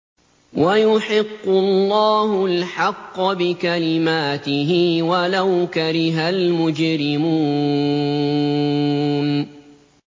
وَيُحِقُّ اللَّهُ الْحَقَّ بِكَلِمَاتِهِ وَلَوْ كَرِهَ الْمُجْرِمُونَ